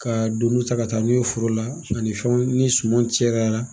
Ka donunw ta ka taa n'u ye foro la sani fɛnw ni suman cɛra.